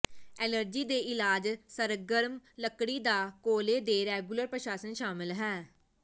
allergy ਦੇ ਇਲਾਜ ਸਰਗਰਮ ਲੱਕੜੀ ਦਾ ਕੋਲੇ ਦੇ ਰੈਗੂਲਰ ਪ੍ਰਸ਼ਾਸਨ ਸ਼ਾਮਲ ਹੈ